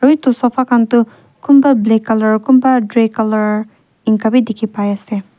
aru etu sofa khan tu kunba black colour kunba grey colour enka bhi dikhi pai ase.